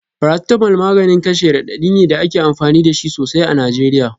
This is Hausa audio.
Paracetamol maganin kashe radadi ne da ake amfani da shi sosai a Najeriya.